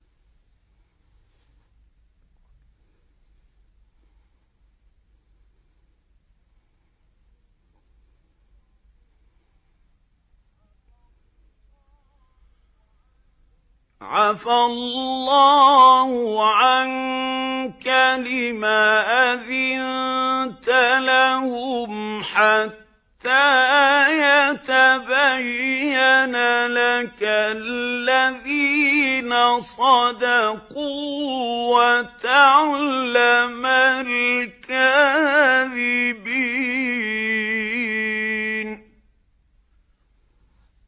عَفَا اللَّهُ عَنكَ لِمَ أَذِنتَ لَهُمْ حَتَّىٰ يَتَبَيَّنَ لَكَ الَّذِينَ صَدَقُوا وَتَعْلَمَ الْكَاذِبِينَ